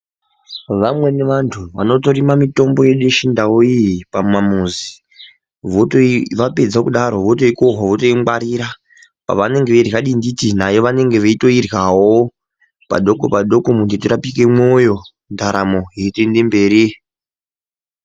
Vamweni vantu vanotorima mitombo yedu yechindau iyi pamamuzi vapedza kudaro votoikohwa votoingwarira vanenge veirya dinditi nayo vananenge veito iryawo padoko padoko kuti tirapike mwoyo ndaramo yeito ende mberi.